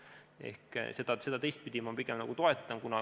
Ehk teistpidi ma seda pigem toetan.